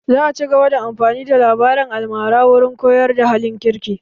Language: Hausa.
Za a cigaba da amfani da labarin almara wurin koyar da halin kirki